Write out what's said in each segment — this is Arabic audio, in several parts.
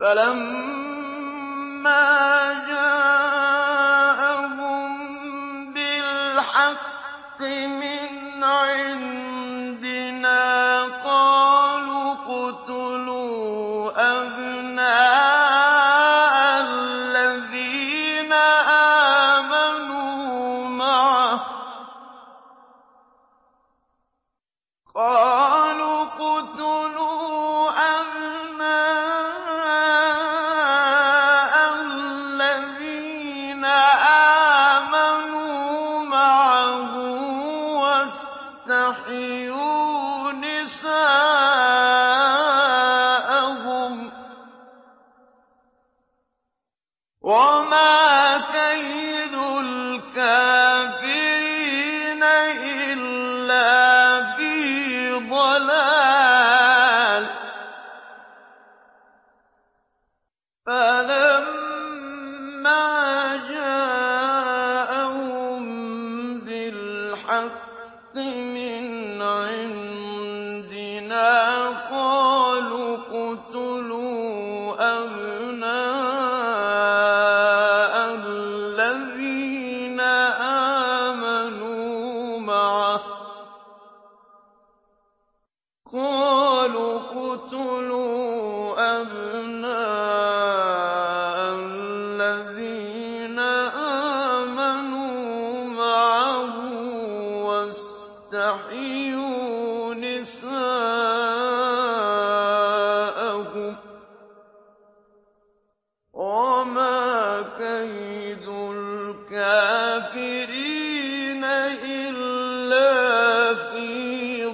فَلَمَّا جَاءَهُم بِالْحَقِّ مِنْ عِندِنَا قَالُوا اقْتُلُوا أَبْنَاءَ الَّذِينَ آمَنُوا مَعَهُ وَاسْتَحْيُوا نِسَاءَهُمْ ۚ وَمَا كَيْدُ الْكَافِرِينَ إِلَّا فِي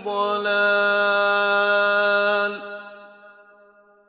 ضَلَالٍ